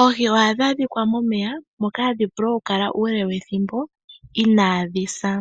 Oohi ohadhi adhika momeya moka hadhi vulu oku kala uule wethimbo inaadhi sa.